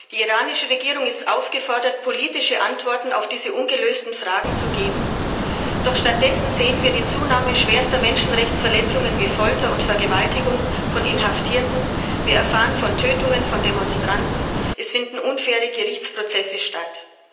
Die iranische Regierung ist aufgefordert, politische Antworten auf diese ungelösten Fragen zu geben, doch stattdessen beobachten wir eine Zunahme schwerster Menschenrechtsverletzungen wie Folter und Vergewaltigungen von Inhaftierten, erfahren wir von Tötungen von Demonstranten, finden unfaire Gerichtsprozesse statt.